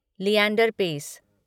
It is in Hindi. लिएंडर पेस